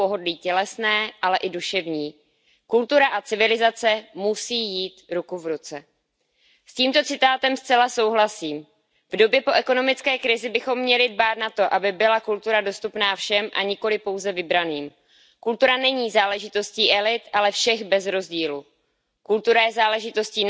Pane předsedající, domnívám se, že strukturální a finanční překážky v přístupu ke kultuře představují velký problém. Ano, asi ne ten největší, ale přesto rozhodně významný. Přístup ke kultuře totiž patří mezi základní práva všech občanů a zasluhuje tak naši pozornost.